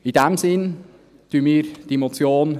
In diesem Sinn unterstützen wir diese Motion.